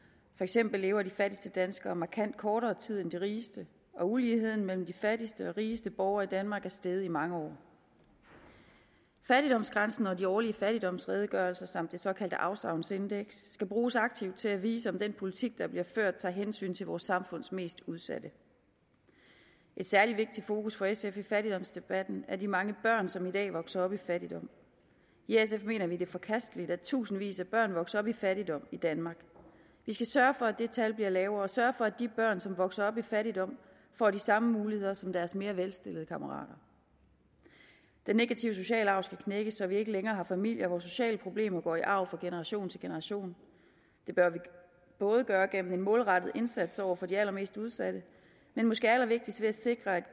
for eksempel lever de fattigste danskere markant kortere tid end de rigeste og uligheden mellem de fattigste og de rigeste borgere i danmark er steget i mange år fattigdomsgrænsen og de årlige fattigdomsredegørelser samt det såkaldte afsavnsindeks skal bruges aktivt til at vise om den politik der bliver ført tager hensyn til vores samfunds mest udsatte et særlig vigtigt fokus for sf i fattigdomsdebatten er de mange børn som i dag vokser op i fattigdom i sf mener vi det er forkasteligt at tusindvis af børn vokser op i fattigdom i danmark vi skal sørge for at det tal bliver lavere og sørge for at de børn som vokser op i fattigdom får de samme muligheder som deres mere velstillede kammerater den negative sociale arv skal knækkes så vi ikke længere har familier hvor sociale problemer går i arv fra generation til generation det bør vi gøre gennem en målrettet indsats over for de allermest udsatte men måske allervigtigst ved at sikre